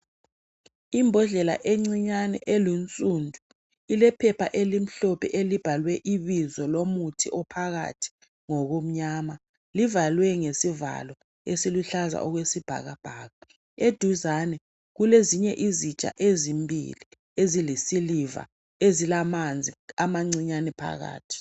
Imbodlela encinyane elunsundu, ilephepha elimhlophe elibhalwe ibizo lomuthi ophakathi ngokumnyama. Livalwe ngesivalo esiluhlaza okwesibhakabhaka. Eduzane kulezinye izitsha ezimbili ezilisiliva, ezilamanzi amancinyane phakathi.